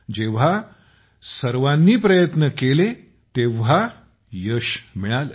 जेव्हा सर्वांचे प्रयत्न लागले तेव्हा यशही मिळालं